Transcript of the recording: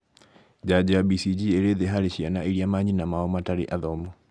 Njanjo ya BCG ĩrĩ thĩ harĩ ciana irĩa manyina mao matarĩ athomu